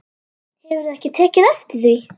Hefurðu ekki tekið eftir því?